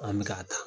An bɛ ka taa